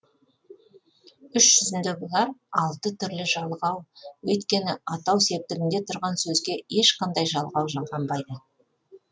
іс жүзінде бұлар алты түрлі жалғау өйткені атау септігінде тұрған сөзге ешқандай жалғау жалғанбайды